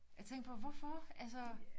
Jeg tænkte på hvorfor altså